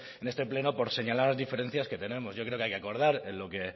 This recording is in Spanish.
en este pleno por señalar diferencias que tenemos yo creo que hay que acordar